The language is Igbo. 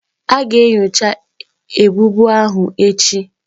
A ga-enyocha ebubo ahụ echi.